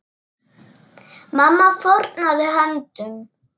Mamma fórnaði höndum.